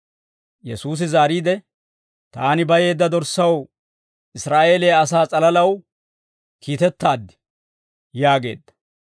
Yesuusi zaariide, «Taani bayeedda dorssaw, Israa'eeliyaa asaa s'alalaw kiitettaad» yaageedda.